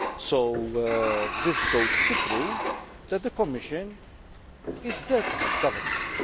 So this goes to prove that the Commission is there to help governments.